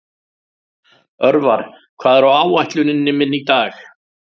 Örvar, hvað er á áætluninni minni í dag?